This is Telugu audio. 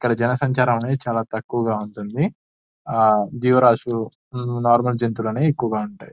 ఇక్కడ జనసంచారం అనేది చాలా తక్కువగా ఉంటుంది ఆ జీవరాసులు నార్మల్ జంతువులు నివి ఎక్కువగా ఉంటాయి --